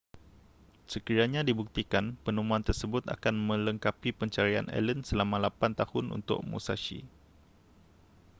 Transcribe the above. sekiranya dibuktikan penemuan tersebut akan melengkapi pencarian allen selama lapan tahun untuk musashi